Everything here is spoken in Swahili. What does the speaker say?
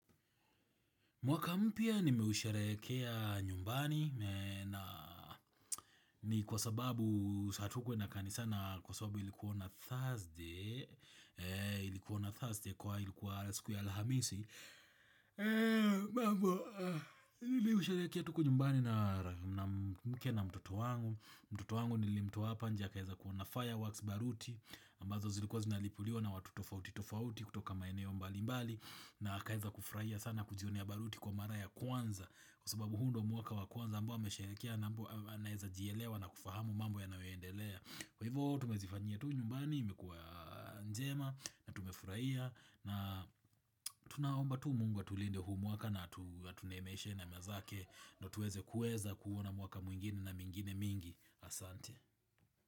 Mwaka mpa nimeusharehekea nyumbani na ni kwa sababu hatukuenda kanisa na kwa sababu ilikuwa on a Thursday Ilikuwa on a Thursday kwa hivo ilikuwa siku ya alhamisi mambo, iliusharehekea tu huku nyumbani na mke na mtoto wangu. Mtoto wangu nilimtoa hapa nje akaweza kuona fireworks baruti ambazo zilikuwa zinalipuliwa na watu tofauti tofauti kutoka maeneo mbali mbali na akaweza kufurahia sana kujionea baruti kwa mara ya kwanza. Kwa sababu huu ndio mwaka wa kwanza ambao amesherehekea na anaweza jielewa na kufahamu mambo yanayoendelea. Kwa hivyo tumezifanyia tu nyumbani imekuwa njema na tumefurahia na tunaomba tu Mungu atulinde huu mwaka na atu tuneemeshe neema zake ndio tuweze kuweza kuona mwaka mwingine na mingine mingi asante.